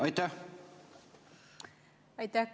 Aitäh!